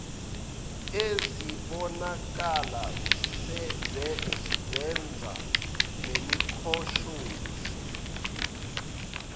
ezibonakala zenza lemikhoshosho